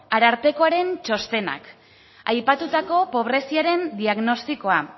arartekoaren txostenak aipatutako pobreziaren diagnostikoa